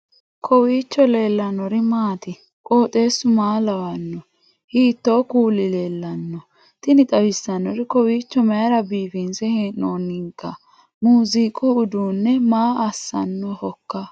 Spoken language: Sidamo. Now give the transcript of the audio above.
kowiicho leellannori maati ? qooxeessu maa lawaanno ? hiitoo kuuli leellanno ? tini xawissannori kowiicho mayra biifinse hee'oonnikka muziiqu uduunni maa assannohoikka